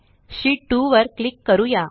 शीत2 वर क्लिक करूया